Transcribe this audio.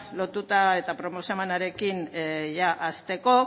lotuta eta proposamenarekin hasteko